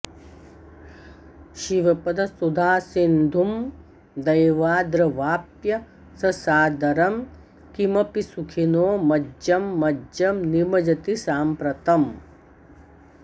शिवपदसुधासिन्धुं दैवाद्रवाप्य ससादरं किमपि सुखिनो मज्जं मज्जं निमज्जति साम्प्रतम्